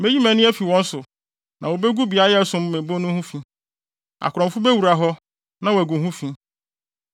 Meyi mʼani afi wɔn so na wobegu beae a ɛsom me bo no ho fi. Akorɔmfo bewura hɔ na wɔagu ho fi.